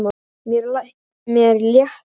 Mér létti.